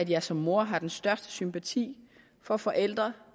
jeg som mor har den største sympati for forældre